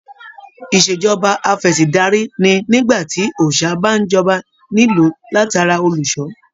Ìṣèjọba afẹ̀sìndarí ní nígbà tí òòsà bá n jọba nílu latara olùṣọ.